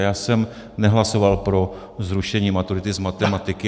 A já jsem nehlasoval pro zrušení maturity z matematiky.